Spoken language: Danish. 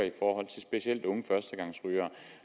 specielt unge førstegangsrygere